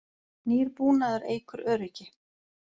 Nýr búnaður eykur öryggi